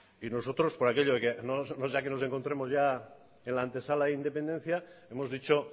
y nosotros por aquello de que no sea que nos encontremos ya en la antesala de la independencia hemos dicho